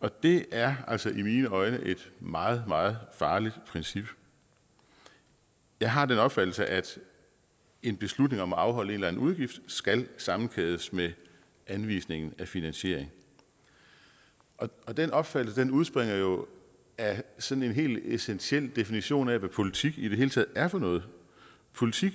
og det er altså i mine øjne et meget meget farligt princip jeg har den opfattelse at en beslutning om at afholde en udgift skal sammenkædes med anvisning af finansiering og den opfattelse udspringer jo af sådan en hel essentiel definition af hvad politik i det hele taget er for noget politik